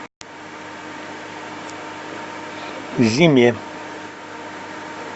зиме